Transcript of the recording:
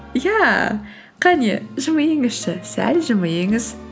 иә қане жымиыңызшы сәл жымиыңыз